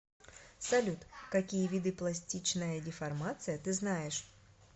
салют какие виды пластичная деформация ты знаешь